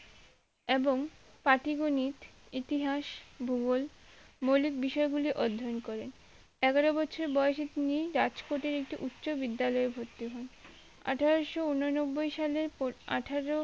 এবং পাটি গনিত ইতিহাস ভুগল মৌলিক বিষয় গুলি অধ্যায়ন করেন এগারো বছর বয়েসে তিনি রাজ কোর্টের একটি উচ্চ বিদ্যালয়ে ভর্তি হন আঠারোশো উননব্বই সালে আঠারো